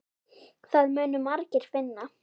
Það munu margir finna.